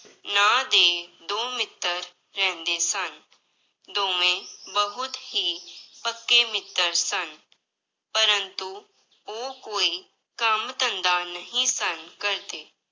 ਨਾਂਂ ਦੇ ਦੋ ਮਿੱਤਰ ਰਹਿੰਦੇ ਸਨ, ਦੋਵੇਂ ਬਹੁਤ ਹੀ ਪੱਕੇ ਮਿੱਤਰ ਸਨ ਪਰੰਤੂ ਉਹ ਕੋਈ ਕੰਮ ਧੰਦਾ ਨਹੀਂ ਸਨ ਕਰਦੇ।